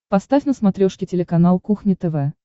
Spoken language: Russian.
поставь на смотрешке телеканал кухня тв